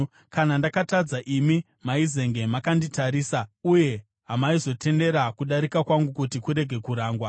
Kana ndakatadza, imi maizenge makanditarisa, uye hamaizotendera kudarika kwangu kuti kurege kurangwa.